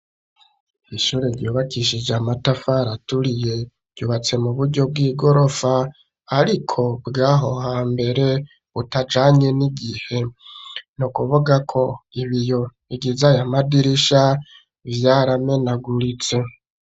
Ishure ryubakishije amatafari aturiye yubatse mu buryo bw'igorofa ariko bw'aho hambere butajanye n'igihe. N'ukuvuga ko ibiyo bigize aya madirisha vyaramenaguritse.